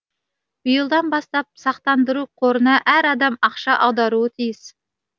биылдан бастап сақтандыру қорына әр адам ақша аударуы тиіс